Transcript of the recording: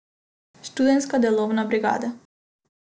Študentska delovna brigada.